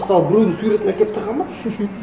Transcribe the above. мысалы біреудің суретін әкеліп тығады ма